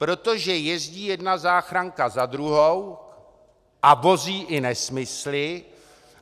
Protože jezdí jedna záchranka za druhou a vozí i nesmysly.